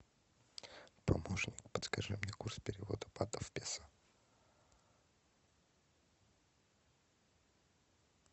помощник подскажи мне курс перевода батов в песо